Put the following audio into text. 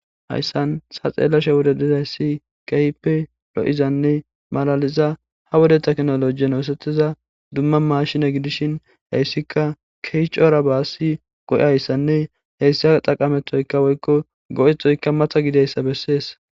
hayssan sa xeellashe wode dizayssi kehipe lo7izanne malaliza ha wode teknolojien oosetiza dumma maashine gidishin heyssikka keicora baasi go7ayssanne heyssi xaqametoyka woykko go7etoyka mata gidayssa bessees